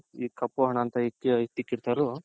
ಈ ಕಪ್ಪು ಹಣ ಅಂತ ಎತ್ತಿಕಿರ್ತಾರೋ.